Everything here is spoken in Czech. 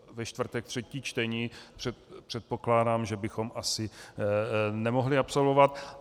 Ve čtvrtek třetí čtení předpokládám, že bychom asi nemohli absolvovat.